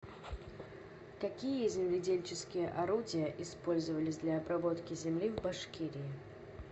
какие земледельческие орудия использовались для обработки земли в башкирии